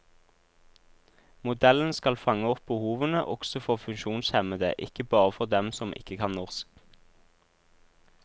Modellen skal fange opp behovene også for funksjonshemmede, ikke bare for dem som ikke kan norsk.